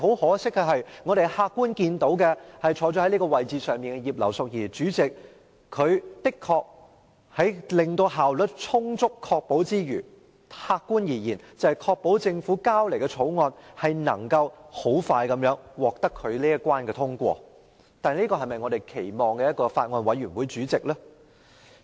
可惜，坐在法案委員會主席位置上的葉劉淑儀議員，雖然的確能充分確保會議效率，即客觀而言確保政府提交的《條例草案》可快速通過她這一關，但這是否我們期望法案委員會主席所做的事？